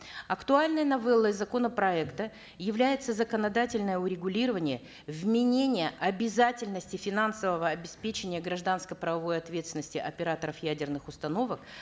актуальной новеллой законопроекта является законодательное урегулирование вменения обязательности финансового обеспечения гражданско правовой ответственности операторов ядерных установок